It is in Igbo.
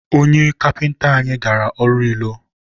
onye kapịnta anyị gara ọrụ ilo.